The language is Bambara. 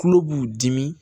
Tulo b'u dimi